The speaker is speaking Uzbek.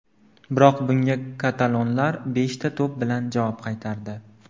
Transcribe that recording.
Biroq bunga katalonlar beshta to‘p bilan javob qaytardi.